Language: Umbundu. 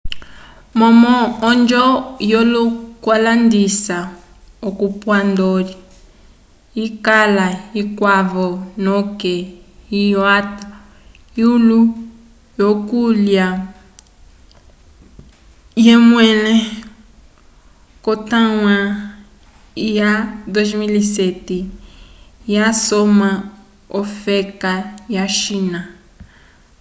momo onjo yo kulandisa ocompuador yikala ikwavo noke iwata eyulo yo kulya eyemwele ko taiwan ya 2007 ya soma yofeka ya china